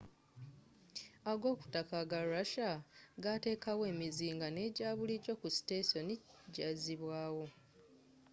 agokutaka aga russia gateekawo emizinga n'ejabulijo ku sitesoni jazibwaawo